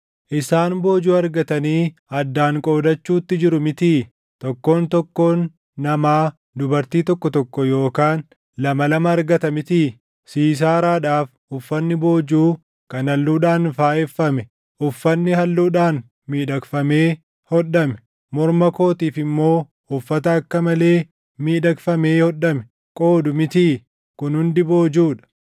‘Isaan boojuu argatanii addaan qoodachuutti jiru mitii? Tokkoon tokkoon namaa dubartii tokko tokko yookaan lama lama argata mitii? Siisaaraadhaaf uffanni boojuu kan halluudhaan faayeffame, uffanni halluudhaan miidhagfamee hodhame, morma kootiif immoo uffata akka malee miidhagfamee hodhame qoodu mitii? Kun hundi boojuu dha.’